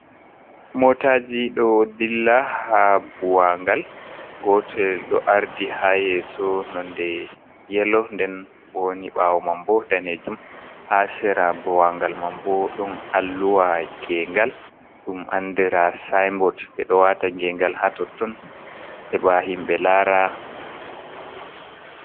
Motaji do dilla ha buwagal, gotel do ardi ha yeso nonde yelo, den boni bawo mambo danejum, ha sera buwangal mam bo dom alluwa gengal dum andira sinbot be do wata gengal ha totton heba himbe lara.